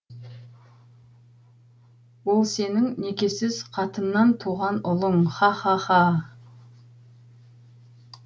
ол сенің некесіз қатыннан туған ұлың ха ха ха